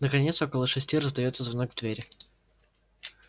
наконец около шести раздаётся звонок в дверь